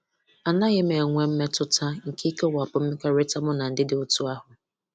Anaghị m enwe mmetụta nke ikewapụ mmekọrịta mụ na ndị dị otú ahụ.